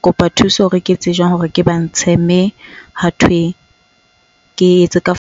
kopa thuso hore ke etse jwang hore ke ba ntshe. Mme hathwe ke etse ka .